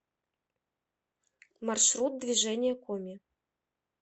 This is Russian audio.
маршрут движение коми